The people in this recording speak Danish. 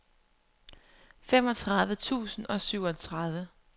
femogtredive tusind og syvogtredive